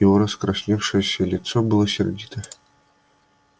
его раскрасневшееся лицо было сердито